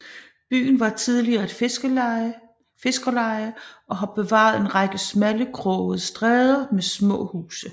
Byen var tidligere et fiskerleje og har bevaret en række smalle krogede stræder med små huse